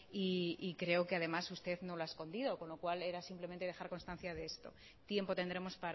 y creo que además usted no lo ha escondido con lo cual era simplemente dejar constancia de esto tiempo tendremos